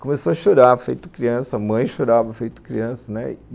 Começou a chorar, feito criança, a mãe chorava feito criança, né?